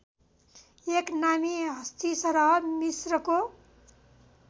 एक नामी हस्ती सरह मिस्रको